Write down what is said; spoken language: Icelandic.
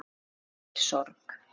Því fylgi sorg.